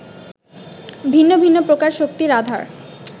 ভিন্ন ভিন্ন প্রকার শক্তির আধার